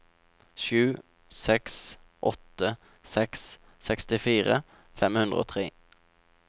sju seks åtte seks sekstifire fem hundre og tre